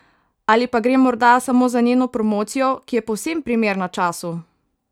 Ali pa gre morda samo za njeno promocijo, ki je povsem primerna času?